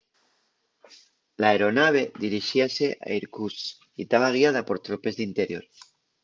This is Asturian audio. l'aeronave dirixíase a irkutsk y taba guiada por tropes d'interior